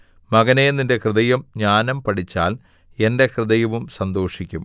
മകനേ നിന്റെ ഹൃദയം ജ്ഞാനം പഠിച്ചാൽ എന്റെ ഹൃദയവും സന്തോഷിക്കും